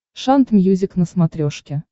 шант мьюзик на смотрешке